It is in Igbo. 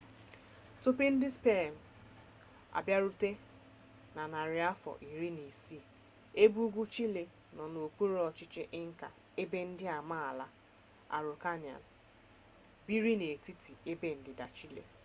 tupu ndị spen abịarute na narị afọ iri na isii ebe ugwu chile nọ n’okpuru ọchịchị inca ebe ndị amaala araucanian mapuche biri n’etiti na ebe ndịda chile